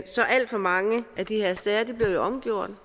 så alt for mange af de her sager bliver omgjort